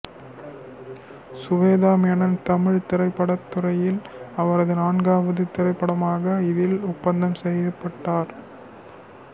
சுவேதா மேனன் தமிழ் திரைப்படத் துறையில் அவரது நான்காவது திரைப்படமான இதில் ஒப்பந்தம் செய்யப்பட்டார்